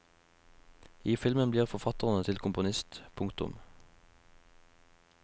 I filmen blir forfatteren til komponist. punktum